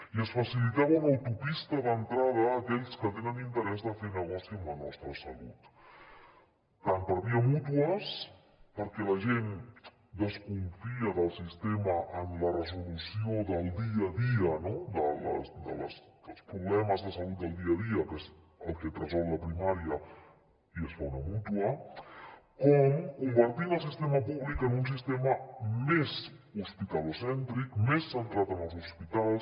i es facilitava una autopista d’entrada a aquells que tenen interès a fer negoci amb la nostra salut tant per via mútues perquè la gent desconfia del sistema en la resolució del dia a dia no dels problemes de salut del dia a dia que és el que et resol la primària i es fa una mútua com convertint el sistema públic en un sistema més hospitalocèntric més centrat en els hospitals